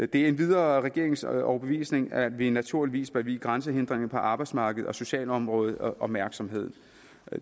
det er endvidere regeringens overbevisning at vi naturligvis bør vie grænsehindringer på arbejdsmarkeds og socialområdet opmærksomhed